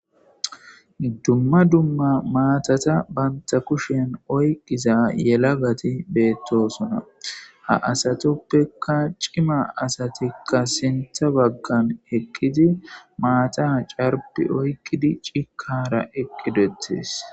iddumma dumma maatata banta kushen oyqqiza yela gati beettosuna ha asatoppeka cima asatikka sintha baggan heqqidi maata ha carpi oykkidi cikara eqqidettes